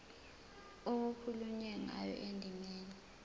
okukhulunywe ngayo endimeni